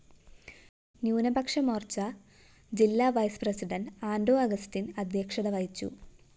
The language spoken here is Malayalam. ന്യൂനപക്ഷമോര്‍ച്ച ജില്ലാ വൈസ്പ്രസിഡണ്ട് ആന്റോ അഗസ്റ്റിന്‍ അദ്ധ്യക്ഷത വഹിച്ചു